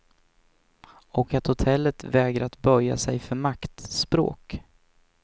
Och att hotellen vägrat böja sig för maktspråk.